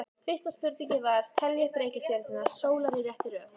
Fyrsta spurning var: Teljið upp reikistjörnur sólar í réttri röð.